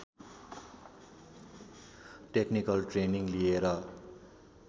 technical training लिएर